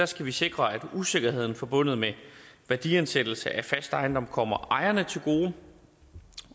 skal vi sikre at usikkerheden forbundet med værdiansættelse af fast ejendom kommer ejerne til gode